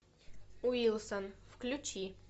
уилсон включи